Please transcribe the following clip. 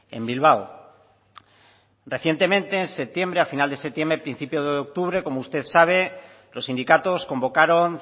en bilbao recientemente en septiembre a final de septiembre principio de octubre como usted sabe los sindicatos convocaron